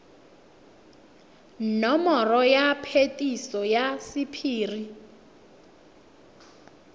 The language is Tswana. nomoro ya phetiso ya sephiri